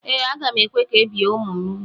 Ee, aga m ekwe ka ebie ụmụ m úgwù.